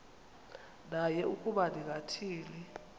naye ukuba ningathini